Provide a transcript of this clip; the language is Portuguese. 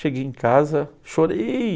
Cheguei em casa, chorei.